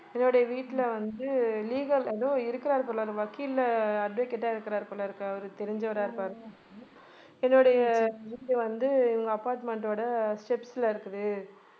என்னுடைய வீட்டில வந்து legal ஏதோ இருக்கிறார் போல அந்த வக்கீல் advocate ஆ இருக்கிறார் போலிருக்கு அவரு தெரிஞ்சவரா இருப்பார். என்னுடைய வீடு வந்து apartment ஓட steps ல இருக்குது